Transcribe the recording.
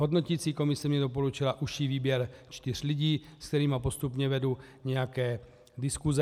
Hodnoticí komise mně doporučila užší výběr čtyř lidí, se kterými postupně vedu nějaké diskuse.